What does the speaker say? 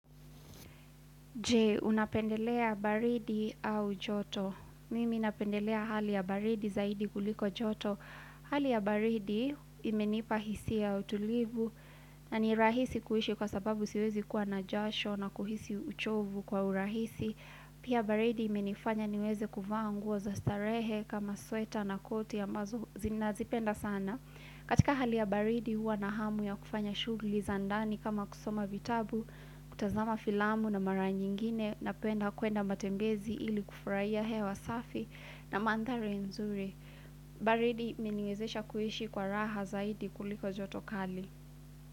Je, unapendelea baridi au joto. Mimi napendelea hali ya baridi zaidi kuliko joto. Hali ya baridi imenipa hisia ya utulivu na ni rahisi kuishi kwa sababu siwezi kuwa na jasho na kuhisi uchovu kwa urahisi. Pia baridi imenifanya niweze kuvaa nguo za starehe kama sweta na koti ambazo zi nazipenda sana. Katika hali ya baridi huwa na hamu ya kufanya shughulii za ndani kama kusoma vitabu, kutazama filamu na mara nyingine napenda kuenda matembezi ili kufurahia hewa safi na mandhari nzuri. Baridi imeniezesha kuishi kwa raha zaidi kuliko joto kali.